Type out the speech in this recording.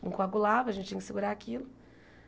Não coagulava, a gente tinha que segurar aquilo.